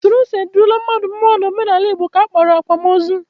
Usoro e si edula mmadụ mmụọ n'omenala Igbo ka a kpọrọ akwamozu